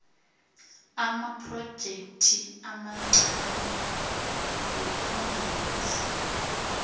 amaprojekthi amancani wokungenisa